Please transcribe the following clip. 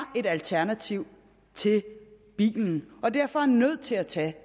et alternativ til bilen og som derfor er nødt til at tage